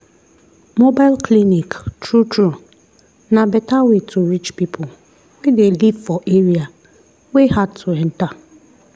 mobile clinic true true na better way to reach people wey dey live for area wey hard to enter.